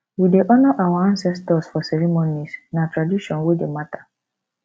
we dey honor our ancestors for ceremonies na tradition wey dey matter